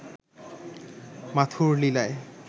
মাথুর লীলায়